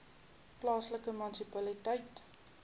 plaaslike munisipaliteit